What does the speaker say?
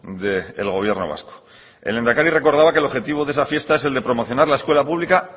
del gobierno vasco el lehendakari recordaba que el objetivo de esa fiesta es el de promocionar la escuela pública